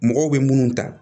Mɔgɔw bɛ minnu ta